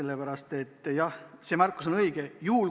Kui tegin, siis see märkus on õige.